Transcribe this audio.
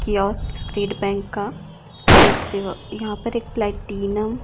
State bank का लोक सेवा यहां पर एक प्लैटिनम ।